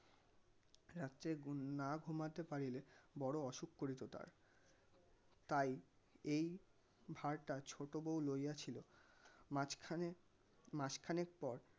রাত্রে ~না ঘুমাতে পারিলে বড় অসুখ করিত তার তাই এই ভারটা ছোটো বউ লইয়া ছিল. মাঝখানে মাসখানেক পর